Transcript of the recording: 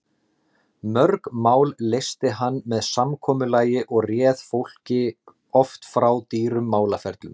Mörg mál leysti hann með samkomulagi og réð fólki oft frá dýrum málaferlum.